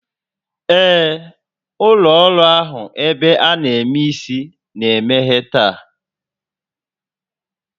Ee, ụlọ ọrụ ahụ ebe a na eme isi na-emeghe taa